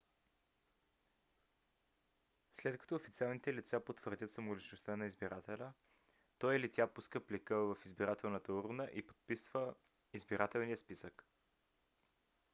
след като официалните лица потвърдят самоличността на избирателя той или тя пуска плика в избирателната урна и подписва избирателния списък